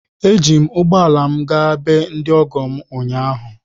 Eji m ụgbọ ala m gaa be ndị ọgọ m ụnyaahụ.